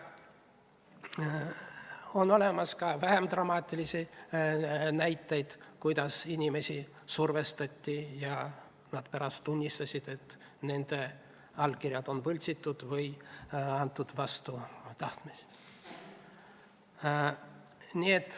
On olemas ka vähem dramaatilisi näiteid, kuidas inimesi on survestatud ja nad on pärast tunnistanud, et nende allkirju on võltsitud või on need antud vastu tahtmist.